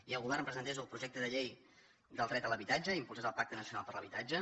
i el govern presentés el projecte de llei del dret a l’habitatge i impulsés el pacte nacional per a l’habitatge